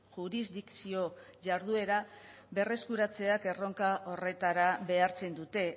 jurisdikzio jarduera berreskuratzea erronka horretara behartzen dute